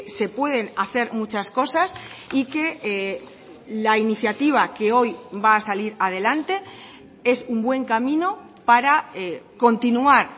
se pueden hacer muchas cosas y que la iniciativa que hoy va a salir adelante es un buen camino para continuar